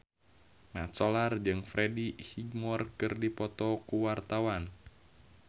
Mat Solar jeung Freddie Highmore keur dipoto ku wartawan